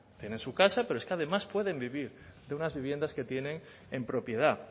tienen su casa pero es que además pueden vivir de unas viviendas que tienen en propiedad